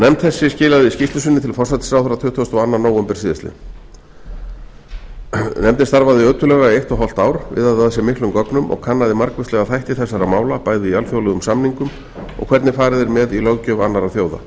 nefnd þessi skilaði skýrslu sinni til forsætisráðherra tuttugasta og annan nóvember síðastliðinn nefndin starfaði ötullega í eitt og hálft ár viðaði að sér miklum gögnum og kannaði margvíslega þætti þegar mála bæði í alþjóðlegum samningum og hvernig farið er með í löggjöf annarra þjóða